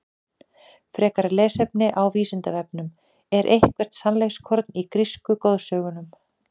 Frekara lesefni á Vísindavefnum: Er eitthvert sannleikskorn í grísku goðsögunum?